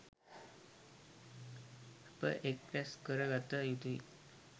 අප එක් රැස් කර ගත යුතුයි.